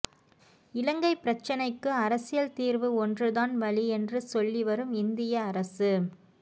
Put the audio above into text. இலங்கைப் பிரச்சினைக்கு அரசியல் தீர்வு ஒன்றுதான் வழி என்று சொல்லிவரும் இந்திய அரசு